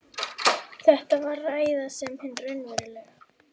Þetta var ræða sem hin raunverulega